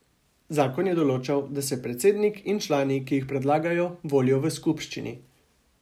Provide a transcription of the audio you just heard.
Zakon je določal, da se predsednik in člani, ki jih predlaga, volijo v skupščini.